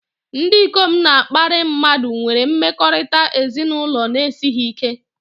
Ndị ikom na-akparị mmadụ nwere mmekọrịta ezinụlọ na-esighị ike